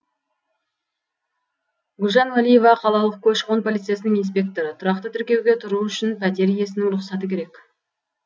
гүлжан уәлиева қалалық көші қон полициясының инспекторы тұрақты тіркеуге тұру үшін пәтер иесінің рұқсаты керек